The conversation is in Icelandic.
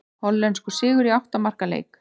Hollenskur sigur í átta marka leik